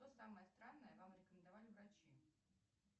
что самое странное вам рекомендовали врачи